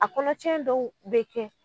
A kɔnɔcɛn dɔw bɛ kɛ